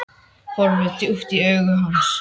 Horfi djúpt í augu hans.